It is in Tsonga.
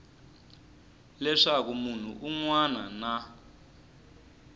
leswaku munhu un wana na